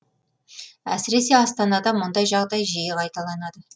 әсіресе астанада мұндай жағдай жиі қайталанады